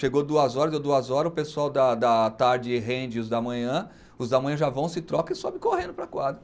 Chegou duas horas, deu duas horas, o pessoal da da tarde rende os da manhã, os da manhã já vão, se trocam e sobem correndo para a quadra.